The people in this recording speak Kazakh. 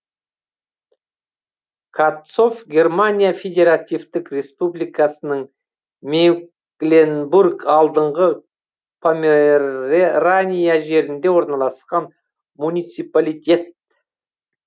катцов германия федеративтік республикасының мекленбург алдыңғы померерания жерінде орналасқан муниципалитет